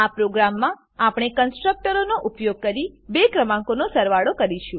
આ પ્રોગ્રામમાં આપણે કન્સ્ટ્રકટરનો ઉપયોગ કરી બે ક્રમાંકોનો સરવાળો કરીશું